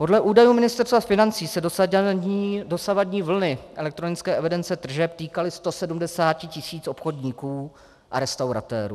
Podle údajů Ministerstva financí se dosavadní vlny elektronické evidence tržeb týkaly 170 tisíc obchodníků a restauratérů.